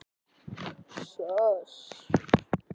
Týnt barn